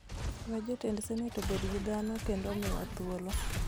we jotend senet obed gi dhano kendo omiwa thuolo